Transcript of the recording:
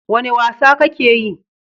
Wane wasa kake yi?